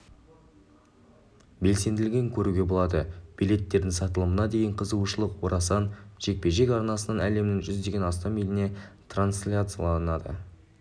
белсенділігін көруге болады билеттердің сатылымына деген қызығушылық орасан жекпе-жек арнасынан әлемнің жүзден астам еліне трансляцияланады